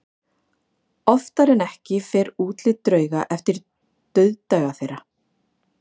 Oftar en ekki fer útlit drauga eftir dauðdaga þeirra.